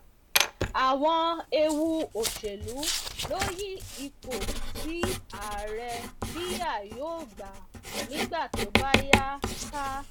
àwọn ewu òṣèlú ló yí ipò tí ààrẹ biya yóò gbà nígbà tó bá yá ká